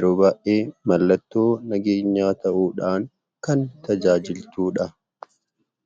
yeroo baayyee mallattoo nageenyaa ta'uudhaan kan tajaajiltuudha.